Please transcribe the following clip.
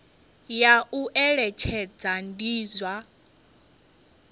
ya u eletshedza ndi zwa